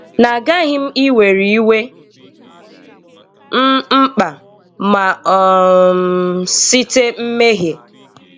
Nà agaghị̀ m iwerè iwè m mkpà, mà um sitè mmèhiè